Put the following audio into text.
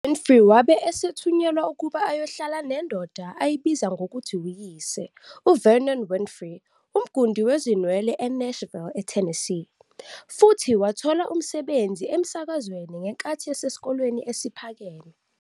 UWinfrey wabe esethunyelwa ukuba ayohlala nendoda ayibiza ngokuthi uyise, uVernon Winfrey, umgundi wezinwele eNashville, eTennessee, futhi wathola umsebenzi emsakazweni ngenkathi esesesikoleni esiphakeme.